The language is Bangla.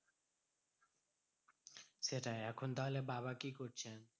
সেটাই এখন তাহলে বাবা কি করছে?